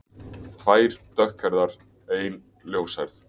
Tvær dökkhærðar, ein ljóshærð.